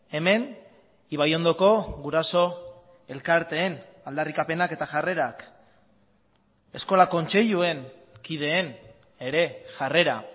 hemen ibaiondoko guraso elkarteen aldarrikapenak eta jarrerak eskola kontseiluen kideen ere jarrera